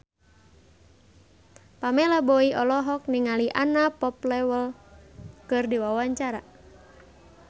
Pamela Bowie olohok ningali Anna Popplewell keur diwawancara